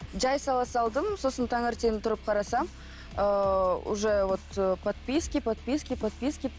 жай сала салдым сосын таңертең тұрып қарасам ыыы уже вот ы подписки подписки подписки